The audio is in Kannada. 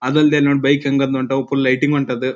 ಅದಲ್ದೆ ನನ್ನ ಬೈಕ್ ಹೆಂಗ್ ಅದ್ ಫುಲ್ ಲೈಟಿಂಗ್ ಹೊಂಟದು.